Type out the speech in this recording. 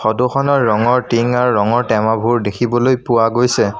ফটোখনৰ ৰঙৰ টিং আৰু ৰঙৰ টেমাবোৰ দেখিবলৈ পোৱা গৈছে।